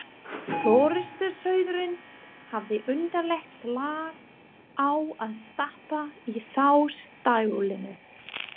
Forystusauðurinn hafði undarlegt lag á að stappa í þá stálinu.